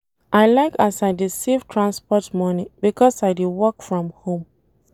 I like as I dey save transport moni because I dey work from home.